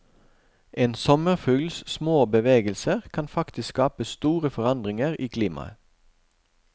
En sommerfugls små bevegelser kan faktisk skape store forandringer i klimaet.